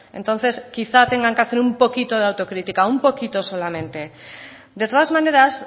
entonces quizá tengan que hacer un poquito de autocrítica un poquito solamente de todas maneras